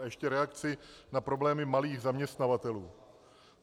A ještě reakci na problémy malých zaměstnavatelů.